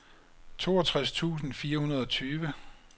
toogtres tusind fire hundrede og tyve